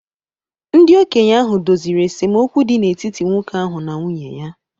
Ndị okenye ahụ doziri esemokwu dị n’etiti nwoke ahụ na nwunye ya